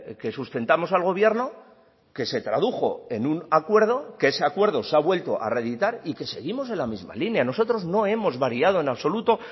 que sustentamos al gobierno que se tradujo en un acuerdo que ese acuerdo se ha vuelto a reeditar y que seguimos en la misma línea nosotros no hemos variado en absoluto